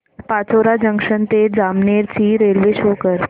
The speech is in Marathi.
पाचोरा जंक्शन ते जामनेर ची रेल्वे शो कर